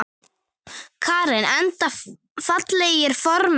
Karen: Enda fallegir formenn?